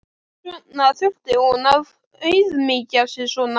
Hvers vegna þurfti hún að auðmýkja sig svona?